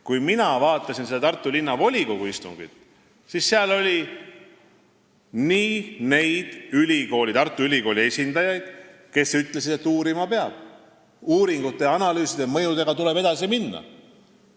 Kui mina vaatasin seda Tartu Linnavolikogu istungit, siis nägin seal ka neid Tartu Ülikooli esindajaid, kes ütlesid, et uurima peab ning uuringute ja mõjuanalüüsidega tuleb edasi minna.